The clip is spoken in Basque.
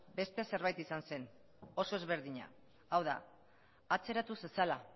beste zerbait izan zen oso ezberdina hau da atzeratu zezala